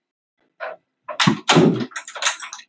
Bílvelta á Vesturlandsvegi